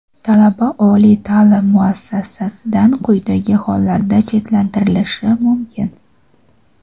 Talaba oliy ta’lim muassasasidan quyidagi hollarda chetlashtirilishi mumkin:.